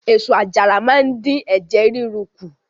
Èso àjàra máa ń dín ẹ̀jẹ̀ ríru kù.